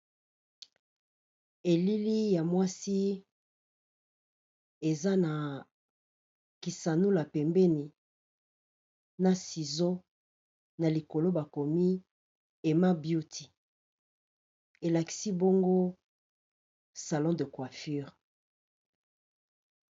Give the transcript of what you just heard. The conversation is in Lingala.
Elili ya mwasi eza na kisanula pembeni na ciseau na likolo, bakomi Emma beauty elakisi bongo salon de coiffure.